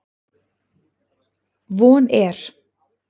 Von er